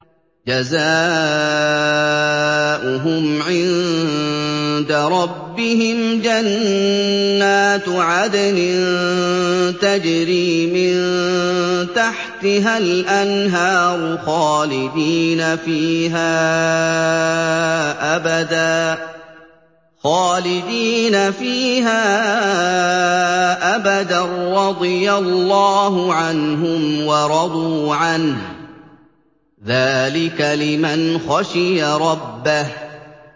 جَزَاؤُهُمْ عِندَ رَبِّهِمْ جَنَّاتُ عَدْنٍ تَجْرِي مِن تَحْتِهَا الْأَنْهَارُ خَالِدِينَ فِيهَا أَبَدًا ۖ رَّضِيَ اللَّهُ عَنْهُمْ وَرَضُوا عَنْهُ ۚ ذَٰلِكَ لِمَنْ خَشِيَ رَبَّهُ